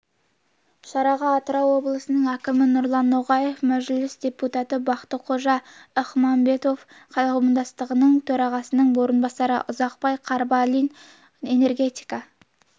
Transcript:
шараға атырау облысының әкімі нұрлан ноғаев мәжіліс депутаты бақтықожа ізмұхамбетов қауымдастығының төрағасының орынбасары ұзақбай қарабалин энергетика